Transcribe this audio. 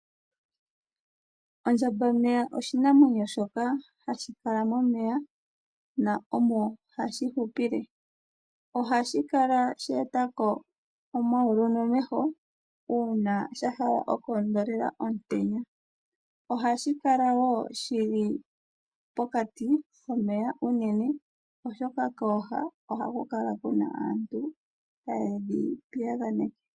Ondjambameya oshinamwenyo shoka hashi kala momeya na omo hashi hupile. Ohashi kala sheetako omayulu nomeho uuna sha hala okoondelela omutenya, ohashi kala woo shili pokati komeya oshoka kooha ohaku kala kuna aantu taye dhi piyaganeke.